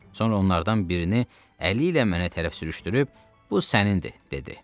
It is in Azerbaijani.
Sonra onlardan birini əli ilə mənə tərəf sürüşdürüb bu sənindi dedi.